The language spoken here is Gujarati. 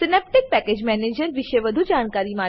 સિનેપ્ટિક પેકેજ મેનેજર વિષે વધુ જાણકારી માટે